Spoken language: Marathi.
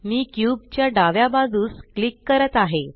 मी क्यूब च्या डाव्या बाजूस क्लिक करत आहे